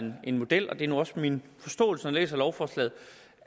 en model og det er også min forståelse når jeg læser lovforslaget